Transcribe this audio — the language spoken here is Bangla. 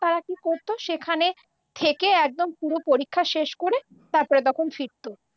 তারা কি করতো সেখানে থেকে একদম পুরো পরীক্ষা শেষ করে তারপর তখন ফিরত।